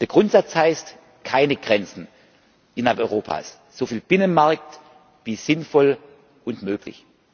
Der Grundsatz heißt keine Grenzen innerhalb Europas, so viel Binnenmarkt wie sinnvoll und möglich.